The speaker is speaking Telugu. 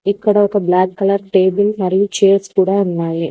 ఇక్కడ బ్లాక్ కలర్ టేబుల్ మరియు చైర్స్ కూడా ఉన్నాయి.